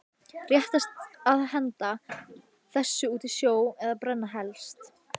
Réttast að henda þessu út í sjó eða brenna helst.